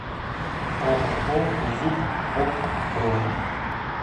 ооо зуб ок бронь